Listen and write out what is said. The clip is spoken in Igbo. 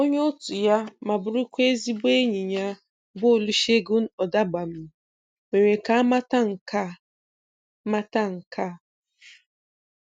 Onye otu ya ma bụrụkwa ezigbo enyi ya bụ Olusegun Odegbami mere ka a mata nke mata nke a